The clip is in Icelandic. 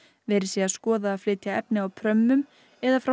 verið sé að skoða að flytja efni á prömmum eða frá